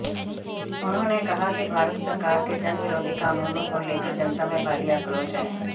उन्होंने कहा कि भारत सरकार के जनविरोधी कानूनों को लेकर जनता में भारी आक्रोश है